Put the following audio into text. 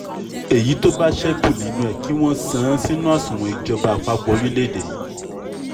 èyí tó bá ṣẹ́kù nínú ẹ̀ kí wọ́n san án sínú àsùnwọ̀n ìjọba àpapọ̀ orílẹ̀‐èdè yìí